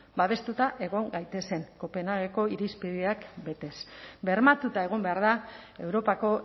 babestuta egon gaitezen kopenhageko irizpideak betez bermatuta egon behar da europako